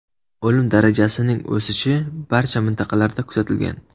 O‘lim darajasining o‘sishi barcha mintaqalarda kuzatilgan.